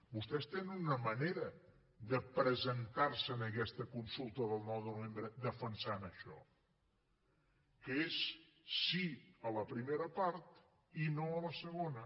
vostès tenen una manera de presentar se en aquesta consulta del nou de novembre defensant això que és sí a la primera part i no a la segona